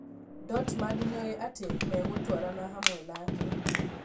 Dortmund nĩoĩ atĩ megũtwarana hamwe nake.